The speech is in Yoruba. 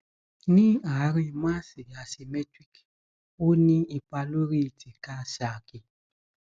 ní àárín máàsì asymmetric ò ní ipa lórí tíká saàkì